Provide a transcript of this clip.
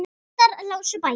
Prestar lásu bækur.